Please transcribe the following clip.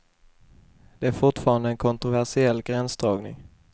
Det är fortfarande en kontroversiell gränsdragning.